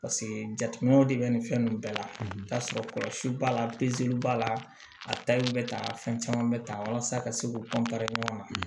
jateminɛw de bɛ nin fɛn ninnu bɛɛ la k'a sɔrɔ kɔlɔsi b'a la b'a la a bɛ ta fɛn caman bɛ taa walasa a ka se k'u ɲɔgɔn ma